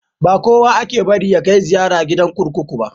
Ba kowa ake bari ya kai ziyara gidan kurkuku ba.